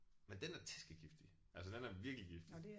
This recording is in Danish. Men den er tæskegiftig altså den er virkelig giftig